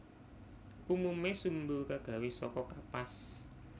Umume sumbu kagawe saka kapas